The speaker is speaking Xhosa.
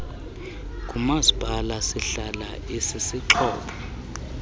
ngumasipala sihlala isisixhobo